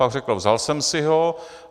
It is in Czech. Pak řekl: vzal jsem si ho.